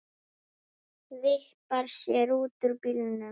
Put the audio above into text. Vippar sér út úr bílnum.